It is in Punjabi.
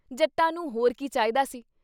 ਜੱਟਾਂ ਨੂੰ ਹੋਰ ਕੀ ਚਾਹੀਦਾ ਸੀ।